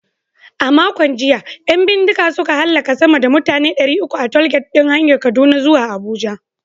A makon jiya, 'yan bindiga suka hallaka sama da mutane ɗari uku a tollgate ɗin hanyar Kaduna zuwa Abuja.